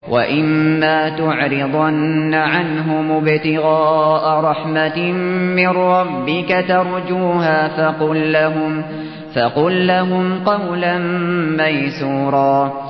وَإِمَّا تُعْرِضَنَّ عَنْهُمُ ابْتِغَاءَ رَحْمَةٍ مِّن رَّبِّكَ تَرْجُوهَا فَقُل لَّهُمْ قَوْلًا مَّيْسُورًا